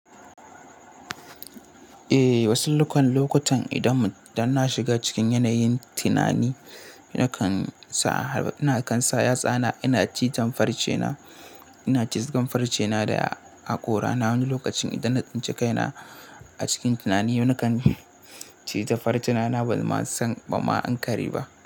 Eh, wasu lokutan idan na shiga cikin yanayin tunani, yana kansa yatsana, ina cizon farce na, ina cizon farce na da haƙora na. Wani lokacin idan na tsince kaina a cikin tunani, yana kan ciza farce na ban ma san ban ma an kari ba.